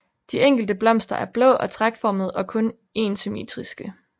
De enkelte blomster er blå og tragtformede og kun énsymmetriske